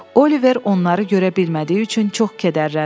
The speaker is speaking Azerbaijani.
Oliver onları görə bilmədiyi üçün çox kədərləndi.